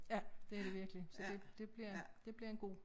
Ja det det virkelig så det det bliver det bliver en god